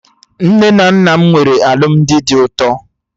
Nne na nna m nwere alụmdi dị ụtọ